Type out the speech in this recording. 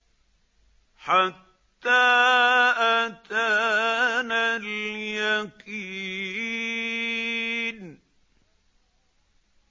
حَتَّىٰ أَتَانَا الْيَقِينُ